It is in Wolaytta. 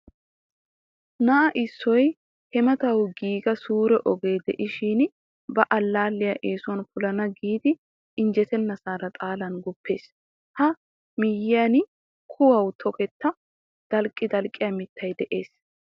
Na'a issoy hemetawu giiga suure ogee de'ishin ba allaalliya eesuwan polana giidi injjetennasaara xalan guppees. A miyyiyan kuwawu toketta dalqqidalqqiya mittay de'ees.